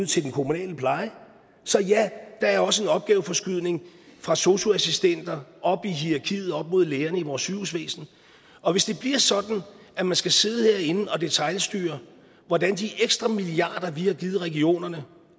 til den kommunale pleje så ja der er også en opgaveforskydning fra sosu assistenter op i hierakiet op mod lægerne i vores sygehusvæsen og hvis det bliver sådan at man skal sidde herinde og detailstyre hvordan de ekstra milliarder vi har givet regionerne